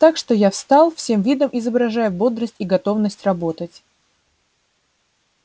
так что я встал всем видом изображая бодрость и готовность работать